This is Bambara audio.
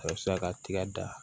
Karisa ka tiga da